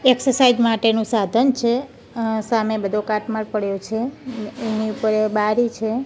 Exercise માટેનું સાધન છે અ સામે બધો કાટમાળ પડ્યો છે એની ઉપર બારી છે.